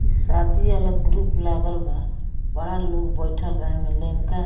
इ शादी वाला ग्रुप लागल बा बड़ा लोग बइठल बा एमे --